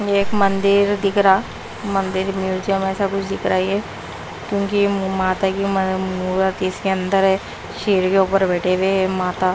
एक मंदिर दिख रहा मंदिर म्यूजियम ऐसा कुछ दिख रहा है ये क्योंकि माता की मूरत इसके अंदर है शेर के ऊपर बैठे हुए माता--